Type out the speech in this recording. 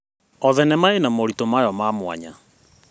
O thenema ĩna moritũ mayo ma mwanya.